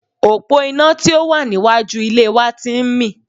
Òpó iná tí ò wà ní iwájú ilé wa ti ń mì